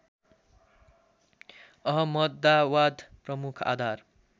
अहमदाबाद प्रमुख आधार